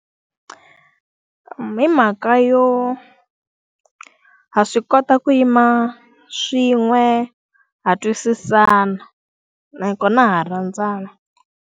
Hi mhaka yo, ha swi kota ku yima swin'we ha twisisana. Nakona ha rhandzana.